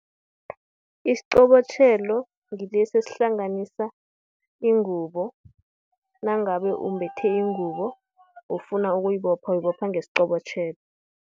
Isiqobotjhelo, ngilesi esihlanganisa ingubo, nangabe umbethe ingubo, ufuna ukuyibopha, uyibopha ngesiqobotjhelo.